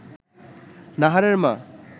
নাহারের মা